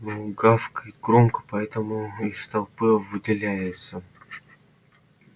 но гавкает громко поэтому из толпы выделяется